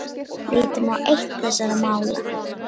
Lítum á eitt þessara mála.